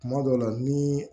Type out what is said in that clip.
Kuma dɔw la ni